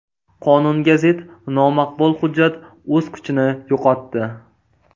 Qonunga zid nomaqbul hujjat o‘z kuchini yo‘qotdi.